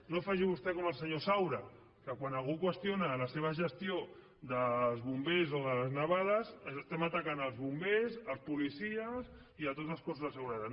no faci vostè com el senyor saura que quan algú qüestiona la seva gestió dels bombers o de les nevades estem atacant els bombers els policies i tots els cossos de seguretat